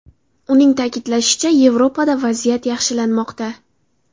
Uning ta’kidlashicha, Yevropada vaziyat yaxshilanmoqda.